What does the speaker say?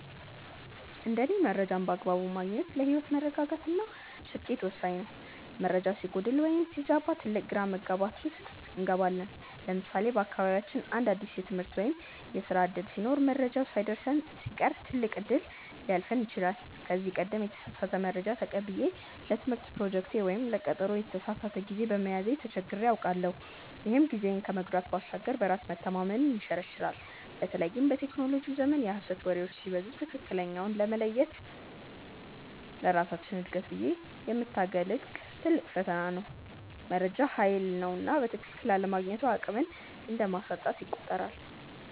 እንደ እኔ መረጃን በአግባቡ ማግኘት ለህይወት መረጋጋት እና ስኬት ወሳኝ ነው። መረጃ ሲጎድል ወይም ሲዛባ ትልቅ ግራ መጋባት ውስጥ እንገባለን። ለምሳሌ በአካባቢያችን አንድ አዲስ የትምህርት ወይም የስራ ዕድል ሲኖር መረጃው ሳይደርሰን ሲቀር ትልቅ እድል ሊያልፈን ይችላል። ከዚህ ቀደም የተሳሳተ መረጃ ተቀብዬ ለትምህርት ፕሮጀክቴ ወይም ለቀጠሮዬ የተሳሳተ ጊዜ በመያዜ ተቸግሬ አውቃለሁ፤ ይህም ጊዜን ከመጉዳት ባሻገር በራስ መተማመንን ይሸረሽራል። በተለይም በቴክኖሎጂው ዘመን የሐሰት ወሬዎች ሲበዙ ትክክለኛውን መለየት ለራሳችን እድገት ብዬ የምታገልለት ትልቅ ፈተና ነው። መረጃ ሃይል ነውና በትክክል አለማግኘቱ አቅምን እንደማሳጣት ይቆጠራል።